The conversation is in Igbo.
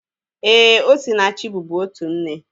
Éè, Osinachi bubu otu nne